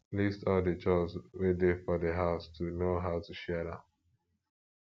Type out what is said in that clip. list all di chores wey dey for di house to know how to share am